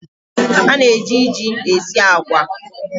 A na-eji ji esi agwa.